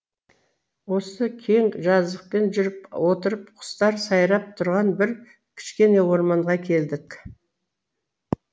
осы кең жазықпен жүріп отырып құстар сайрап тұрған бір кішкене орманға келдік